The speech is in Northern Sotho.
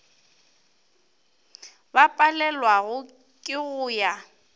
ba palelwago ke go ya